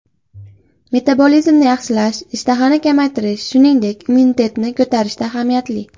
Metabolizmni yaxshilash, ishtahani kamaytirish, shuningdek, immunitetni ko‘tarishda ahamiyatli.